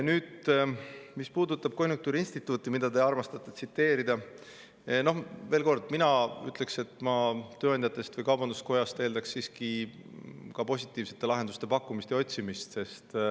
Mis puudutab konjunktuuriinstituuti, millele te armastate, siis veel kord, mina ütlen, et ma tööandjatest või kaubanduskojast eeldaks siiski ka positiivsete lahenduste pakkumist ja otsimist.